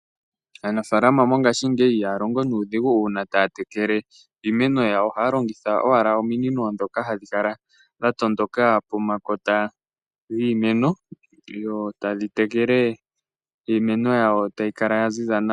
Aanafalama mongashingeyi ihaya longo nuudhigu uuna taya tekele iimeno yawo. Ohaya longitha owala ominino ndhoka hadhi kala dha tondoka pomakota giimeno, dho tadhi tekele iimeno yawo ta yi kala yaziza nawa.